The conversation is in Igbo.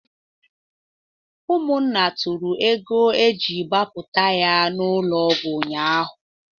Ụmụnna tụrụ ego e ji gbapụta ya n'ụlọ ọgwụ ụnyaahụ